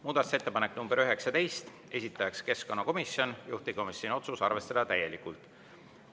Muudatusettepanek nr 19, esitaja keskkonnakomisjon, juhtivkomisjoni otsus: arvestada täielikult.